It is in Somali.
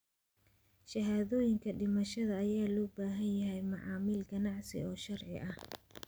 Shahaadooyinka dhimashada ayaa looga baahan yahay macaamil ganacsi oo sharci ah.